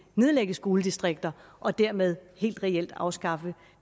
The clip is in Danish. nedlægge skoledistrikter og dermed helt reelt afskaffe